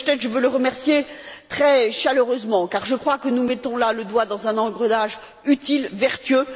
M. Hoppenstedt, je veux le remercier très chaleureusement, car je crois que nous mettons là le doigt dans un engrenage, utile, vertueux.